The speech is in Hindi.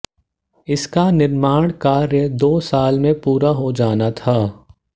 इसका निर्माण कार्य दो साल में पूरा हो जाना था